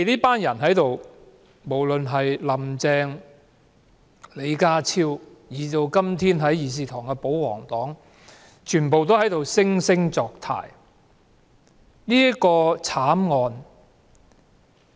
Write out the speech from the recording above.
不論是"林鄭"、李家超，以至今天在議事堂的保皇黨，他們都在惺惺作態。